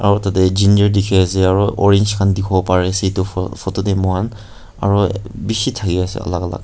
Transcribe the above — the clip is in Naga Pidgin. aru tatey ginger dikhiase aro orange khan dikhiwo pariase itu pho photo tey muihan aro bishi thakiase alak alak.